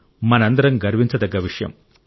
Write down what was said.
మనందరం గర్వించదగ్గ విషయం